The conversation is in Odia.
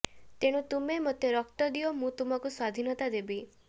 ତେଣୁ ତୁମେ ମୋତେ ରକ୍ତ ଦିଅ ମୁଁ ତୁମକୁ ସ୍ୱାଧୀନତା ଦେବି